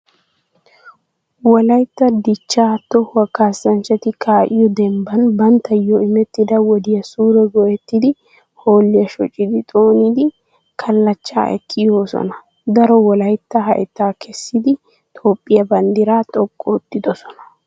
Wolaytta dichchaa tohuwaa kaassanchati kaa"iyoo dembban banttayyo imettida wodiyaa suure go"ettidi hoolliya shoccidi xoonidi kalllachchaa ekki yoosona. Daro wolaytta hayttaa kessidi Toophphiyaa banddiraa xoqqu oottidosona.